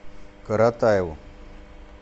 каратаеву